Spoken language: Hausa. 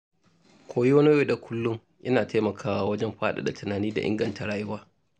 Koyo na yau da kullum yana taimakawa wajen faɗaɗa tunani da inganta rayuwa.